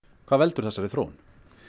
hvað veldur þessari þróun